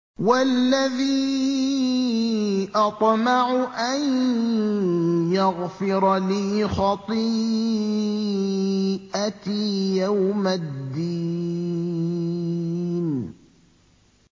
وَالَّذِي أَطْمَعُ أَن يَغْفِرَ لِي خَطِيئَتِي يَوْمَ الدِّينِ